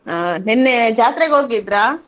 ಹಾ ನೆನ್ನೆ ಜಾತ್ರೆಗ್ ಹೋಗಿದ್ರಾ?